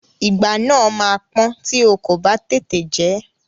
Ìgbá náà máa pọ́n tí o kò bá tètè jẹ ẹ́.